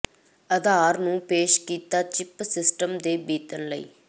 ਅਧਾਰ ਨੂੰ ਪੇਸ਼ ਕੀਤਾ ਚਿੱਪ ਸਿਸਟਮ ਦੇ ਬੀਤਣ ਲਈ